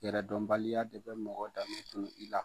Yɛrɛdɔnbaliya de bɛ mɔgɔ dame tunu i la.